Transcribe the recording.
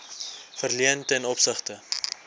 verleen ten opsigte